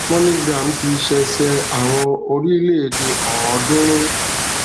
moneygram ti ṣẹsẹ àwọn orílẹèdè ọọdúnrún